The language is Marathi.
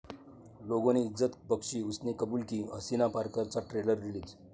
'लोगों ने इज्जत बख्शी, उसने कुबूल की!' 'हसीना पारकर'चा ट्रेलर रिलीज